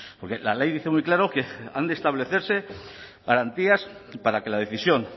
porque la ley dice muy claro que han de establecerse garantías para que la decisión